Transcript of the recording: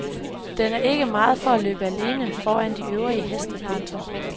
Den er ikke meget for at løbe alene foran de øvrige heste. punktum